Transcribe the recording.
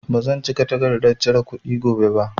Ba zan cika takardan cire kuɗi gobe ba